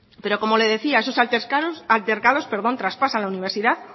pero como le decía esos altercados traspasan la universidad